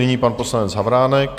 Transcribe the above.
Nyní pan poslanec Havránek.